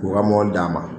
K'u ka mobili d'a ma